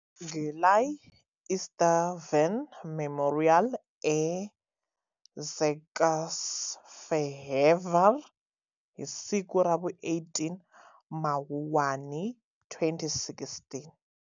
Gyulai István Memorial e Székesfehérvár hi siku ravu 18 Mawuwani 2016.